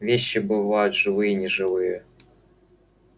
вещи бывают живые и неживые